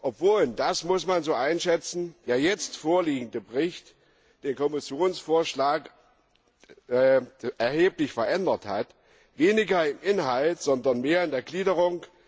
obwohl und das muss man so einschätzen der jetzt vorliegende Bericht den Kommissionsvorschlag erheblich verändert hat, weniger im Inhalt, aber mehr in der Gliederung.